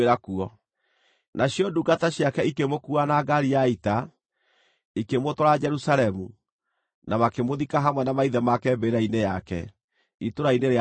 Nacio ndungata ciake ikĩmũkuua na ngaari ya ita, ikĩmũtwara Jerusalemu, na makĩmũthika hamwe na maithe make mbĩrĩra-inĩ yake, itũũra-inĩ rĩa Daudi.